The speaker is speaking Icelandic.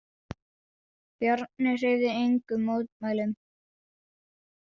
Bjarni hreyfði engum mótmælum.